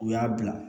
U y'a bila